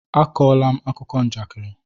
Akọla m akụkọ njakịrị!